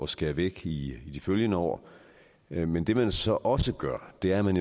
skære væk i de følgende år men det man så også gør er at man